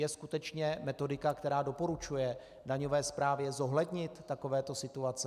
Je skutečně metodika, která doporučuje daňové správě zohlednit takovéto situace?